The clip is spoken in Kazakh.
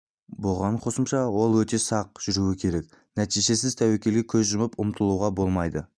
бұған қосымша ол өте сақ жүруі керек нәтижесіз тәуекелге көз жұмып ұмтылуға болмайды